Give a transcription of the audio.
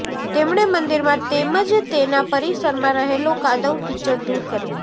તેમણે મંદિરમાં તેમજ તેના પરિસરમાં રહેલો કાદવ કિચડ દૂર કરી